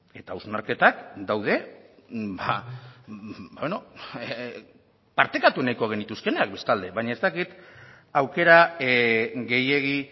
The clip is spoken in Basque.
eta hausnarketak daude partekatu nahiko genituzkeenak bestalde baina ez dakit aukera gehiegi